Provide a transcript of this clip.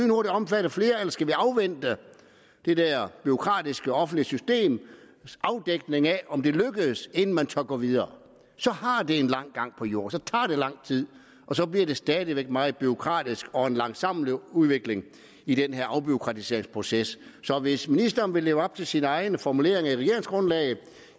noget der omfatter flere eller skal vi afvente det der bureaukratiske offentlige systems afdækning af om det lykkes inden man tør gå videre så har det en lang gang på jord så tager det lang tid og så bliver det stadig væk meget bureaukratisk og en langsommelig udvikling i den her afbureaukratiseringsproces så hvis ministeren vil leve op til sine egne formuleringer i regeringsgrundlaget